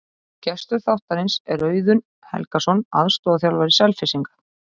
Gestur þáttarins er Auðun Helgason, aðstoðarþjálfari Selfyssinga.